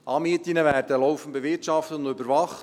Anmieten werden laufend bewirtschaftet und überwacht.